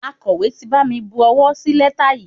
Akọ̀wé ti bami bu owó sí lẹ́tà yìí.